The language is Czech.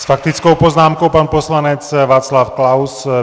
S faktickou poznámkou pan poslanec Václav Klaus.